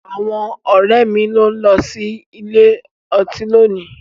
Àwọn ọ̀rẹ́ mi ló ń lọ sí ilé ọtí lónìí.